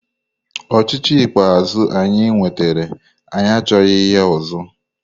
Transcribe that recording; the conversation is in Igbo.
Ochịchị ikpeazụ anyị nwetara anyị achọghị ya ọzọ!